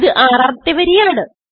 ഇത് ആറാമത്തെ വരിയാണ്